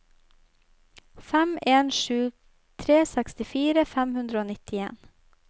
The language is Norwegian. fem en sju tre sekstitre fem hundre og nittien